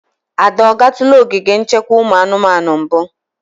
Ada, ọ gatụla ogige nchekwa ụmụ anụmanụ mbu?